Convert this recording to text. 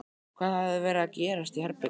Hvað hafði verið að gerast í herberginu?